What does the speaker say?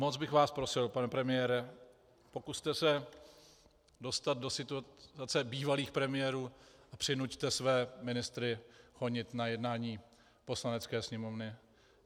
Moc bych vás prosil, pane premiére, pokuste se dostat do situace bývalých premiérů a přinuťte své ministry chodit na jednání Poslanecké sněmovny.